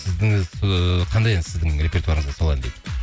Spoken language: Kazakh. ііі қандай ән сіздің репертуарыңызда сол ән дейді